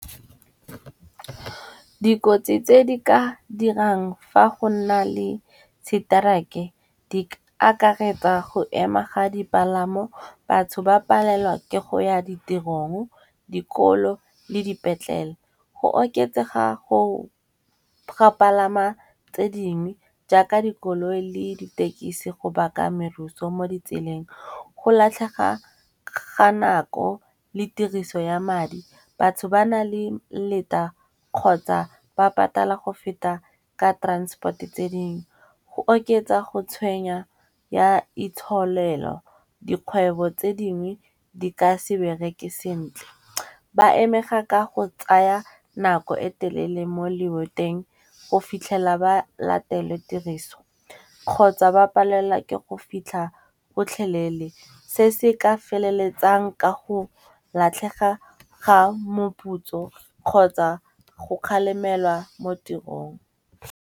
Dikotsi tse di ka dirang fa go nna le seterike di ka akaretsa go ema ga dipalamo, batho ba palelwa ke go ya ditirong, dikolo le dipetlele. Go oketsega go ga palama tse dingwe jaaka dikoloi le ditekisi go baka meruso mo ditseleng. Go latlhega ga nako le tiriso ya madi, batho ba na le leta kgotsa ba patala go feta ka transport-e tse dingwe. Go oketsa go tshwenya ya itsholelo, dikgwebo tse dingwe di ka se bereke sentle. Ba amega ka go tsaya nako e telele mo le boteng go fitlhela ba latele tiriso. Kgotsa ba palelwa ke go fitlha gotlhelele se se ka feleletsang ka go latlhega ga moputso kgotsa go kgalemelwa mo tirong.